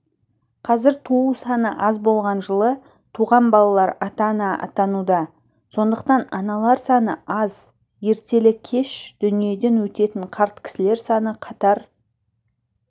қазір туу саны аз болған жылы туған балалар ата-ана атануда сондықтан аналар саны аз ертелі-кеш дүниеден өтетін қарт кісілер саны қатар